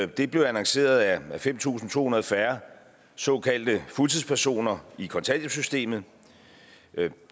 det blev annonceret er fem tusind to hundrede færre såkaldte fuldtidspersoner i kontanthjælpssystemet